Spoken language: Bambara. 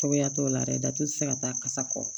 Cogoya t'o la dɛ datu ti se ka taa kasa kɔ